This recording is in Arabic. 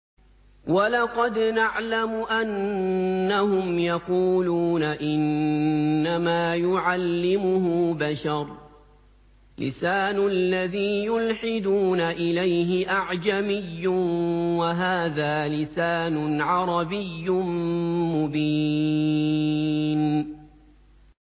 وَلَقَدْ نَعْلَمُ أَنَّهُمْ يَقُولُونَ إِنَّمَا يُعَلِّمُهُ بَشَرٌ ۗ لِّسَانُ الَّذِي يُلْحِدُونَ إِلَيْهِ أَعْجَمِيٌّ وَهَٰذَا لِسَانٌ عَرَبِيٌّ مُّبِينٌ